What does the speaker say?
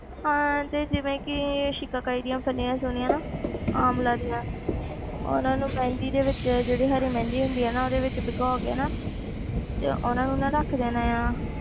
ਹਾਂ ਤੇ ਜਿਵੇਂ ਕਿ ਸ਼ਿਕਾਕਾਈ ਦੀਆਂ ਫ਼ਲੀਆਂ ਸੁਣੀਆਂ ਨਾ ਆਮਲਾ ਦੀਆਂ ਉਹਨਾਂ ਨੂੰ ਮਹਿੰਦੀ ਦੇ ਵਿੱਚ ਜਿਹੜੀ ਹਰੀ ਮਹਿੰਦੀ ਹੁੰਦੀ ਆ ਨਾ ਉਹਦੇ ਵਿੱਚ ਭਿਗੋ ਕੇ ਨਾ ਤੇ ਉਹਨਾਂ ਨੂੰ ਨਾ ਰੱਖ ਦੇਣਾ ਆਂ,